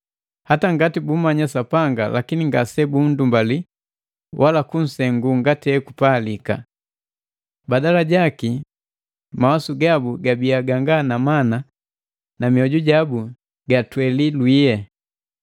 Hata ngati bummanya Sapanga lakini ngase bundumbali wala kunsengula ngati hekupalika. Badala jaki, mawasu gabu gabiya ganga na mana na mioju jabu jatweli lwiye.